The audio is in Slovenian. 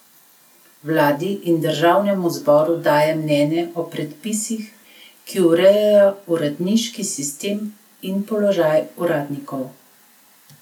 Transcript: Vladi in državnemu zboru daje mnenja o predpisih, ki urejajo uradniški sistem in položaj uradnikov.